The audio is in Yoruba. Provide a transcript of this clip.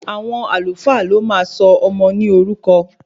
Àwọn Alfa ló máa sọ ọmọ mi ní orúkọ